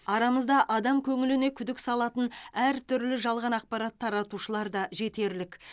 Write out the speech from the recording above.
арамызда адам көңіліне күдік салатын әртүрлі жалған ақпарат таратушылар да жетерлік